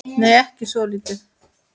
Nei, ekki svolítið.